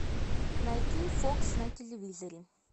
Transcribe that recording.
найти фокс на телевизоре